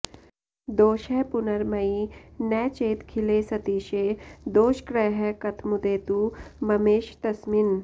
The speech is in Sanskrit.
दोषः पुनर्मयि न चेदखिले सतीशे दोषग्रहः कथमुदेतु ममेश तस्मिन्